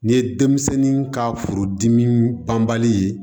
Nin ye denmisɛnnin ka furudimi banbali ye